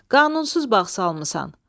Qanunsuz bağ salmısan.